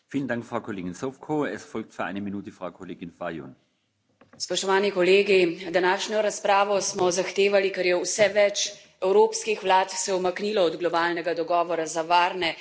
Gospod predsednik, današnjo razpravo smo zahtevali, ker se je vse več evropskih vlad umaknilo od globalnega dogovora za varne, urejene in nadzorovane migracije in ker ne smemo ostati tiho.